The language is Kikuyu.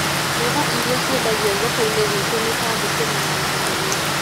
Mboga iria ciendagio thoko-inĩgwitũ nĩta thũkũma na managu